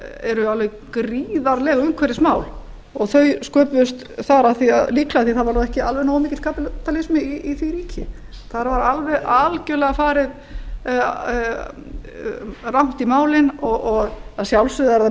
eru alveg gríðarleg umhverfismál og þau sköpuðust þar líka af því þar var nú ekki alveg nógu mikill kapítalisma í því ríki þar var alveg algjörlega farið rangt í málin og að sjálfsögðu er það